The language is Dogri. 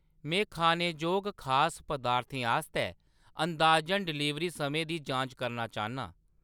में खानेजोग खास पदार्थें आस्तै अंदाजन डलीवरी समें दी जांच करना चाह्‌न्नां।